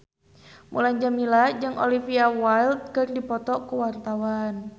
Mulan Jameela jeung Olivia Wilde keur dipoto ku wartawan